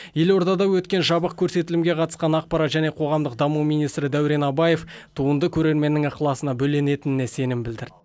елордада өткен жабық көрсетілімге қатысқан ақпарат және қоғамдық даму министрі дәурен абаев туынды көрерменнің ықыласына бөленетініне сенім білдірді